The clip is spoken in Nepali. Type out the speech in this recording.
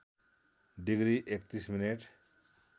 degree ३१ minute